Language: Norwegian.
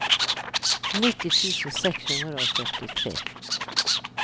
nitti tusen seks hundre og førtitre